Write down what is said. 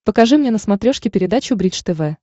покажи мне на смотрешке передачу бридж тв